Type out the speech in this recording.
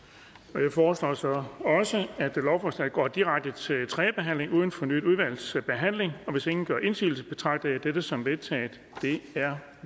jeg foreslår så at lovforslaget går direkte til tredje behandling uden fornyet udvalgsbehandling hvis ingen gør indsigelse betragter jeg dette som vedtaget det er